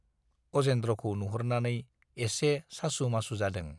अजेन्द्रखौ नुहुरनानै एसे सासु-मासु जादों।